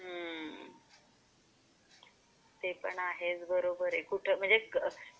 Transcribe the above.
ते पण आहेच बरोबर आहे.